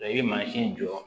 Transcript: i bɛ mansin jɔ